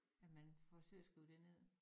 At man forsøger at skrive det ned